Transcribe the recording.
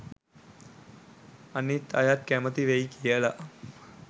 අනිත් අයත් කැමති වෙයි කියලා